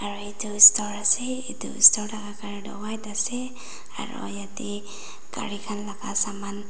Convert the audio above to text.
ari edu store ase edu store laka colour tu white ase aro yatae gari khan la saman.